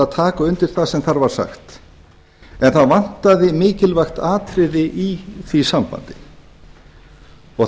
taka undir það sem þar var sagt en það vantaði mikilvægt atriði í því sambandi það